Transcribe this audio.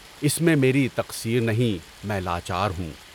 اس میں میری تقصیر نہیں، میں لاچار ہوں۔